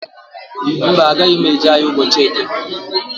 Mba, agaghị m eje ahịa ụbọchị eke.